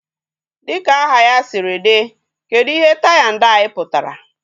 Dịka aha ya sịrị dị, kedụ ihe tai na dai pụtara?